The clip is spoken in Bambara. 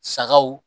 Sagaw